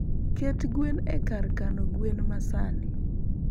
Ket gwen e kar kano gwen ma sani .